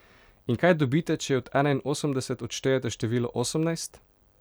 In kaj dobite, če od enainosemdeset odštejete število osemnajst?